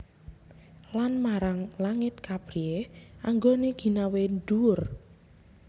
Lan marang langit kapriyé anggoné ginawé dhuwur